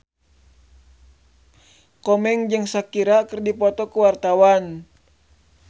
Komeng jeung Shakira keur dipoto ku wartawan